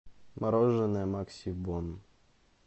мороженое максибон